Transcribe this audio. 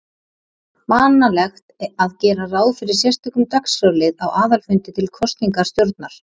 vanalegt að gera ráð fyrir sérstökum dagskrárlið á aðalfundi til kosningar stjórnar.